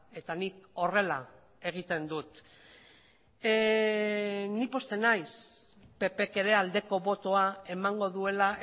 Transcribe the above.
eta nik horrela egiten dut ni pozten naiz ppk ere aldeko botoa emango duela